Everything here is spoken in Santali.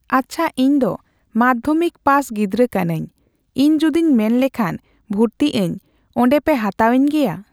ᱟᱪᱪᱷᱟ, ᱤᱧᱫᱚ ᱢᱟᱫᱽᱫᱷᱚᱢᱤᱠ ᱯᱟᱥ ᱜᱤᱫᱽᱨᱟᱹ ᱠᱟᱱᱟᱹᱧ᱾ ᱤᱧ ᱡᱩᱫᱤᱧ ᱢᱮᱱᱞᱮᱠᱷᱟᱱ ᱵᱷᱩᱨᱛᱤᱜ ᱟᱹᱧ, ᱚᱸᱰᱮᱯᱮ ᱦᱟᱛᱟᱣᱤᱧ ᱜᱮᱭᱟ᱾